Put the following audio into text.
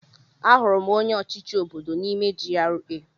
Ahụrụ m onye ọchịchị obodo m n'ime GRA.